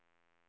folkets